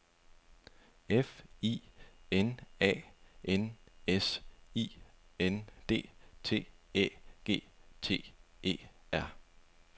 F I N A N S I N D T Æ G T E R